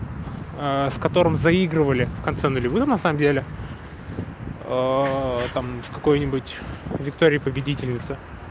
с которым заигрывали в конце нулевых на самом деле там в какой-нибудь виктории победительнице